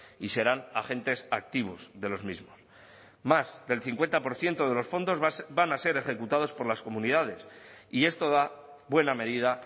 y serán agentes activos de los mismos más del cincuenta por ciento de los fondos van a ser ejecutados por las comunidades y esto da buena medida